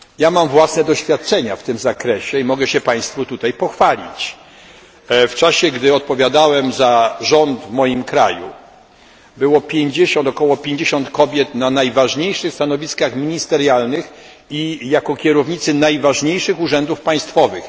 Mam własne doświadczenia w tym zakresie i mogę się Państwu pochwalić w czasie, gdy odpowiadałem za rząd w moim kraju było około 50 kobiet na najważniejszych stanowiskach ministerialnych i jako kierownicy najważniejszych urzędów państwowych.